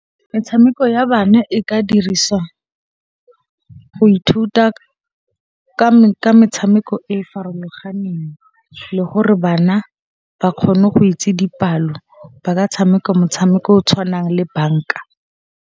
Metshameko ya bana e ka dirisiwa go ithuta ka metshameko e e farologaneng le gore bana ba kgone go itse dipalo, ba ka tshameka motshameko o o tshwanang le banka.